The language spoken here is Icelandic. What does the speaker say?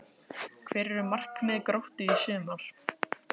Hver eru markmið Gróttu í sumar?